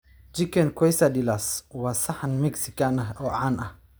Chicken quesadillas waa saxan Mexican ah oo caan ah